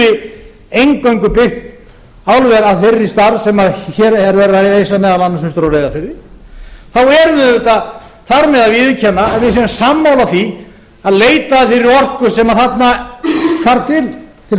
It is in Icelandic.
skuli eingöngu byggt álver af þeirri stærð sem hér er verið að reisa meðal annars austur á reyðarfirði þá erum við auðvitað þar með að viðurkenna að við séum sammála því að leita að þeirri orku sem þarna þarf til framleiðslunnar þá